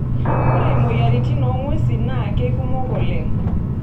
Ore moyiaritn oong'wesi naa keikumok oleng.